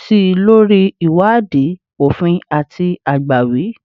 si lori iwadii ofin ati agbawi